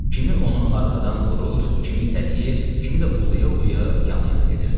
Kimi onu arxadan vurur, kimi itələyir, kimi də uluya-uluya yanı ilə gedirdi.